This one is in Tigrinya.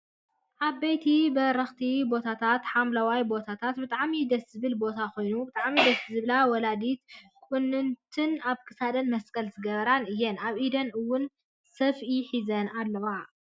ዓበይቲ በረክቲ ቦታን ሓምለዋይ ቦታንብጣዕሚ ደስ ዝብልቦታ ኮይኑ ብጣዕሚ ደስ ዝብላ ወላዲትን ቁንንትንኣብ ክሳደን መስቀል ዝገበራ እያን ኣብ ኢደን እውን ሰፍኡ ሒዘን ኣለዋ።